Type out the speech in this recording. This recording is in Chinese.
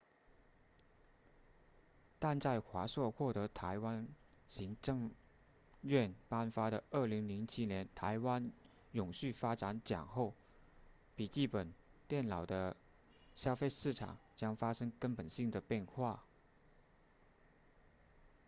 但在华硕获得台湾行政院颁发的2007年台湾永续发展奖后笔记本电脑的消费市场将发生根本性的变化